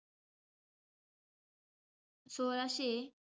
सोळाशे,